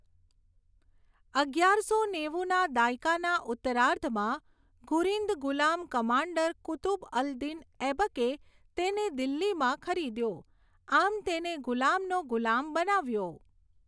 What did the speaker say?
અગિયારસો નેવુના દાયકાના ઉત્તરાર્ધમાં, ઘુરિંદ ગુલામ કમાન્ડર કુતુબ અલ દિન ઐબકે તેને દિલ્હીમાં ખરીદ્યો, આમ તેને ગુલામનો ગુલામ બનાવ્યો.